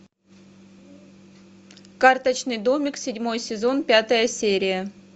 карточный домик седьмой сезон пятая серия